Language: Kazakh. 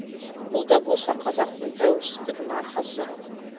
бұл да болса қазақтың тәуелсіздігінің арқасы